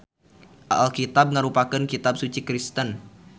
Alkitab ngarupakeun kitab suci Kristen.